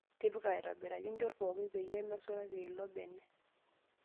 Tipika aitoobiraki nchot pooki peyie mesulari ilo bene.